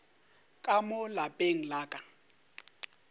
ka mo lapeng la ka